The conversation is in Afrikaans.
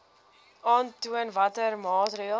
aantoon watter maatreëls